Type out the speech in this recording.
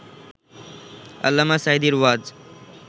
আল্লামা সাঈদীর ওয়াজ